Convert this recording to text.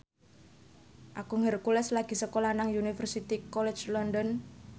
Agung Hercules lagi sekolah nang Universitas College London